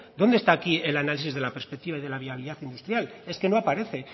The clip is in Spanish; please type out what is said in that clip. dónde está aquí el análisis de la perspectiva y de la viabilidad industrial es que no aparece